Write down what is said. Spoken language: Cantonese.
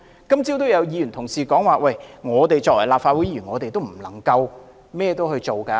今早也有議員提到，我們身為立法會議員，也不能為所欲為。